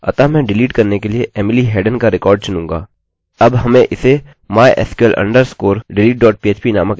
अब हमें इसे mysql underscore deletephp नामक एक नये पेज में जमा करने की आवश्यकता है